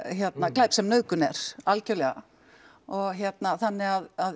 glæp sem nauðgun er algjörlega og hérna þannig að